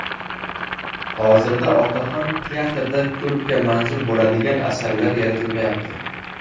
Hozirda otaxon teatrda ko‘pga manzur bo‘ladigan asarlar yaratilmayapti.